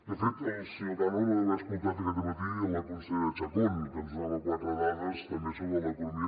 de fet el senyor cano no deu haver escoltat aquest dematí la consellera chacón que ens donava quatre dades també sobre l’economia